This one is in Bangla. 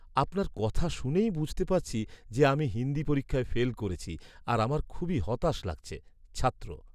আপনার কথা শুনেই বুঝতে পারছি যে আমি হিন্দি পরীক্ষায় ফেল করছি আর আমার খুবই হতাশ লাগছে। ছাত্র